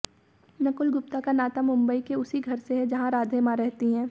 नकुल गुप्ता का नाता मुंबई के उसी घर से है जहां राधे मां रहती हैं